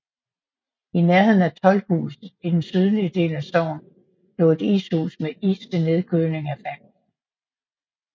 I nærheden af Toldhuset i den sydlige del af sognet lå et ishus med is til nedkøling af fangsten